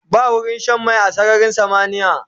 Ba wurin Shan mai a sararin samaniya